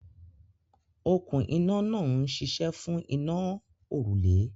Okún iná náà ń ṣiṣẹ́ fún iná a òrùlé.